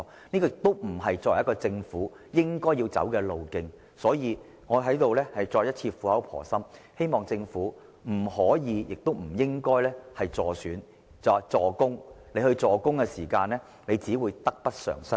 這不是政府應走的路。所以，我在此苦口婆心地重申，政府不可以亦不應該"助攻"，否則只會得不償失。